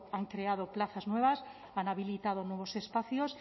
han creado plazas nuevas han habilitado nuevos espacios